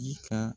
Ji ka